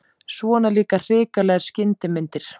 Svona líka hrikalegar skyndimyndir!